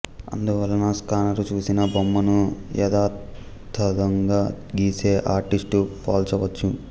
అందువలన స్కానరు చూసిన బొమ్మను యధాతధంగా గీసే ఆర్టిస్ట్తో పోల్చవచ్చు